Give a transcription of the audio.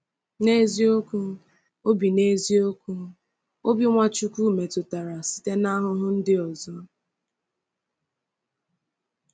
N’eziokwu, obi N’eziokwu, obi Nwachukwu metụtara site n’ahụhụ ndị ọzọ.